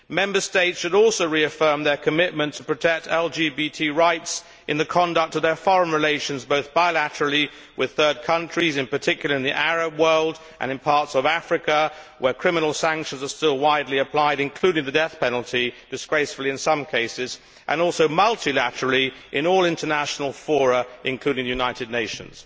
Member States should also reaffirm their commitment to protect LGBT rights in the conduct of their foreign relations, both bilaterally with third countries in particular in the Arab world and in parts of Africa where criminal sanctions are still widely applied, including, disgracefully, the death penalty in some cases and also multilaterally in all international fora, including the United Nations.